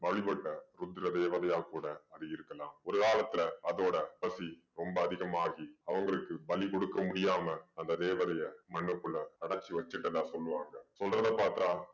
ருத்ர தேவதையா கூட அது இருக்கலாம். ஒரு காலத்துல அதோட பசி ரொம்ப அதிகமாகி அவங்களுக்கு பலி கொடுக்க முடியாம அந்த தேவதைய மண்ணுக்குள்ள அடைச்சு வெச்சுட்டதா சொல்லுவாங்க. சொல்றதை பாத்தா